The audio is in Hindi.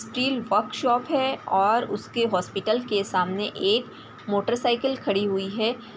की वर्क शॉप है और उसके हॉस्पिटल के सामने एक मोटर साइकल खड़ी हुई है।